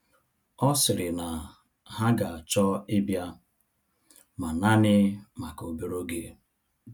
Ọ sịrị na ha ga-achọ ịbịa, ma naanị maka obere oge.